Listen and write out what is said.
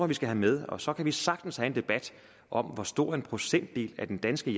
vi skal have med og så kan vi sagtens have en debat om hvor stor en procentdel af den danske